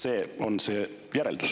See on ju järeldus.